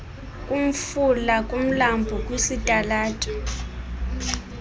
kumfula kumlambo kwisitalato